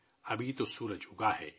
ابھی تو سورج اُگا ہے